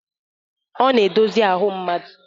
Ọ na edozi ahụ mmadụ.